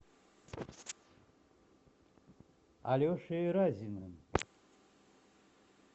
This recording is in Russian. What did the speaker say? алешей разиным